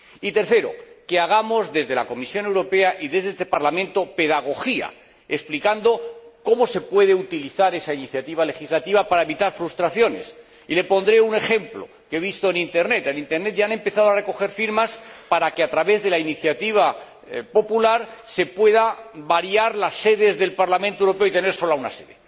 Y, tercero, que desde la Comisión Europea y desde este Parlamento hagamos pedagogía, explicando cómo se puede utilizar esa iniciativa legislativa para evitar frustraciones. Y le pondré un ejemplo que he visto en Internet. En Internet ya han empezado a recoger firmas para que, a través de la iniciativa popular se puedan variar las sedes del Parlamento Europeo y tener sólo una sede.